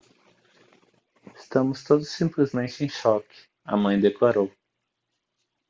estamos todos simplesmente em choque a mãe declarou